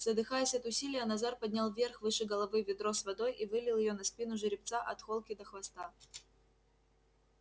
задыхаясь от усилия назар поднял вверх выше головы ведро с водой и вылил её на спину жеребца от холки до хвоста